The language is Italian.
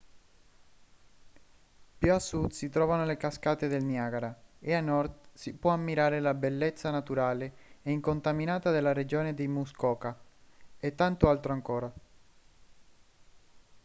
più a sud si trovano le cascate del niagara e a nord si può ammirare la bellezza naturale e incontaminata della regione di muskoka e tanto altro ancora